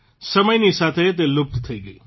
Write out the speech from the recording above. સમયની સાથે તે લુપ્ત થઇ ગઇ